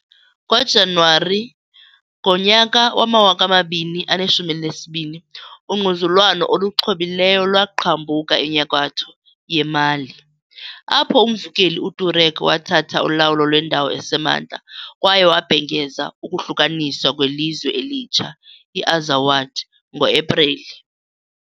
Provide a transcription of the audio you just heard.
NgoJanuwari ngonyaka wama-2012 , ungquzulwano oluxhobileyo lwaqhambuka enyakatho yeMali, apho umvukeli uTuareg wathatha ulawulo lwendawo esemantla, kwaye wabhengeza ukuhlukaniswa kwelizwe elitsha, i-Azawad, ngo-Epreli.